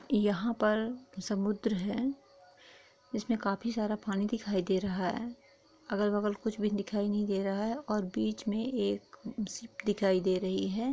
यहाँ पर समुद्र है जिसमे काफी सारा पानी दिखाई दे रहा है अगल- बगल कुछ भी दिखाई नहीं दे रहा है और बीच मे एक शिप दिखाई दे रही है।